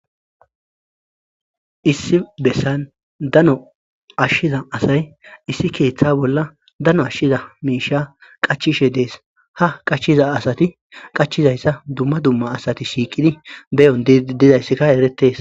Issi bessan dano ashshiza asay issi keeththa bolla dano ashshiza miisha qachishe dees ha qachiza asati qachizayssa dumma dumma asati shiiqidi beyon didayssika eretees.